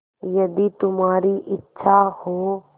यदि तुम्हारी इच्छा हो